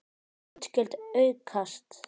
Útgjöld aukast!